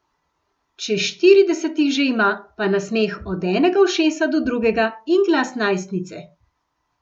Čez štirideset jih že ima, pa nasmeh od enega ušesa do drugega in glas najstnice!